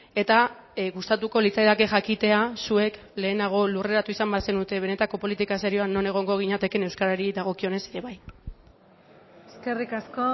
eta gustatuko litzaidake jakitea zuek lehenago lurreratu izan bazenute benetako politika serioan non egongo ginatekeen euskarari dagokionez ere bai eskerrik asko